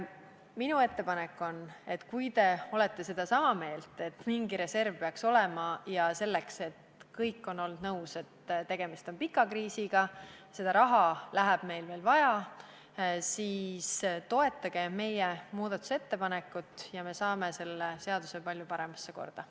Minu ettepanek on, et kui te olete sedasama meelt, et mingi reserv peaks olema – kõik on olnud nõus, et tegemist on pika kriisiga ja seda raha läheb meil veel vaja –, siis toetage meie muudatusettepanekut ja me saame selle seaduse palju paremasse korda.